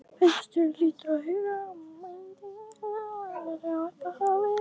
Fundarstjóri hlýtur að huga að lögmæti hluthafafundarins í upphafi.